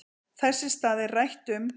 Þess í stað er rætt um